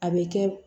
A bɛ kɛ